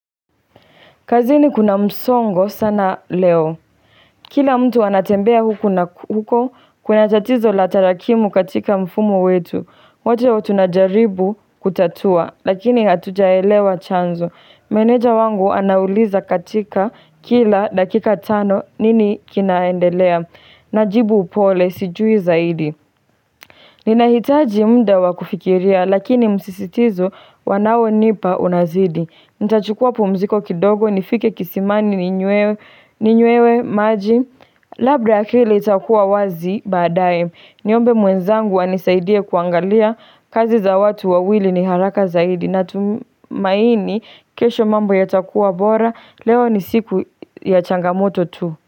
Kazini kuna msongo sana leo. Kila mtu anatembea huku na huko kuna tatizo la tarakimu katika mfumo wetu. Watu wote tunajaribu kutatua, lakini hatujaelewa chanzo. Meneja wangu anauliza katika kila dakika tano nini kinaendelea. Najibu upole sijui zaidi. Ninahitaji muda wakufikiria, lakini msisitizo wanao nipa unazidi. Nita chukua pumziko kidogo nifike kisimani ninywewe maji Labda akili itakuwa wazi baadae Niombe mwenzangu anisaidie kuangalia kazi za watu wawili ni haraka zaidi Natumaini kesho mambo ya takuwa bora Leo ni siku ya changamoto tu.